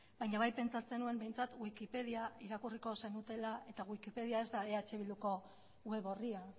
baina bai pentsatzen nuen behintzat wikipedia irakurriko zenutela eta wikipedia ez da eh bilduko web orria